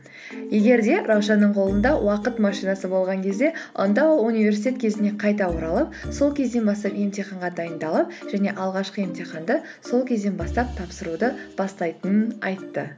егер де раушанның қолында уақыт машинасы болған кезде онда ол университет кезіне қайта оралып сол кезден бастап емтиханға дайындалып және алғашқы емтиханды сол кезден бастап тапсыруды бастайтынын айтты